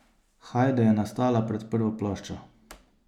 Hajde je nastala pred prvo ploščo.